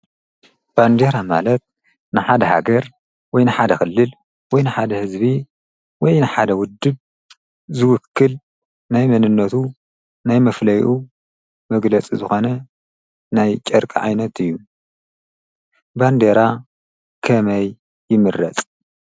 ባንዴራ ማለት ንሓደ ሃገር ወይ ንሓደ ኽልል ወይ ንሓደ ህዝቢ ወይ ንሓደ ውድብ ዝውክል ናይ መንነቱ ናይ መፍለኡ መግለፂ ዝኾነ ናይ ጨርቂ ዓይነት እዩ ባንዴራ ከመይ ይምረፅ።